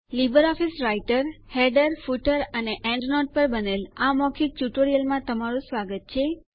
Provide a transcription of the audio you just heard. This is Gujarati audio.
લીબર ઓફીસ રાઈટર હેડરો ફૂટરો અને એન્ડનોટો પર બનેલ મૌખિક ટ્યુટોરિયલમાં તમારું સ્વાગત છે